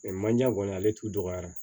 manje kɔni ale t'u dɔgɔya